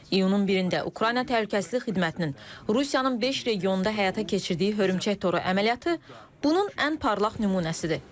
İyunun birində Ukrayna təhlükəsizlik xidmətinin Rusiyanın beş regionunda həyata keçirdiyi hörümçək toru əməliyyatı bunun ən parlaq nümunəsidir.